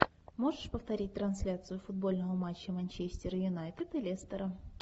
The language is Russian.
можешь повторить трансляцию футбольного матча манчестер юнайтед и лестера